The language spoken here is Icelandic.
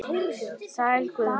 Sæll Guðni.